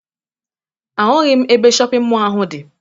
Ahụghị m ebe shọpịn mọọ ahụ dị